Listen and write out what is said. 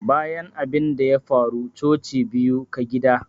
Bayan abinda ya faru coci biyu ka gida.